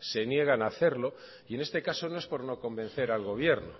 se niegan hacerlo y en este caso no es por no convencer al gobierno